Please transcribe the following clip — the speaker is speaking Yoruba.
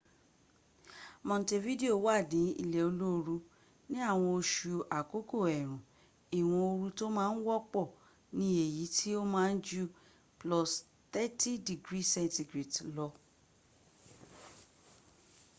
montevideo wà ní ilé olóoru; ní àwọn oṣù àkókò eèrùn ìwọ̀n ooru tó má ń wọ́pọ̀ ni èyí tó ma ń ju +30°c lọ